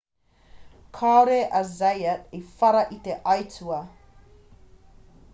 kāore a zayat i whara i te aitua